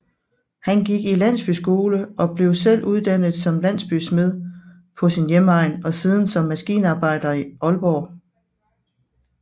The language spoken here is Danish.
Han gik i landsbyskole og blev selv uddannet som landsbysmed på sin hjemegn og siden som maskinarbejder i Aalborg